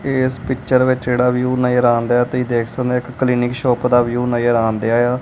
ਏਸ ਪਿੱਚਰ ਵਿੱਚ ਜਿਹੜਾ ਵਿਊ ਨਜਰ ਆਂਦਿਆ ਤੁਹੀ ਦੇਖ ਸਕਦੇ ਔ ਇਕ ਕਲੀਨਿਕ ਸ਼ੌਪ ਦਾ ਵਿਊ ਨਜਰ ਆਂਦਿਆ ਏ ਆ।